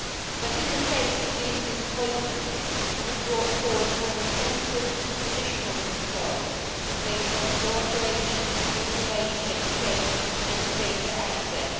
But in the face of these disappointments, you have brought forward more intensive, traditional controls based on cooperation, information exchange and data access.